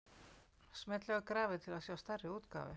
Smellið á grafið til að sjá stærri útgáfu.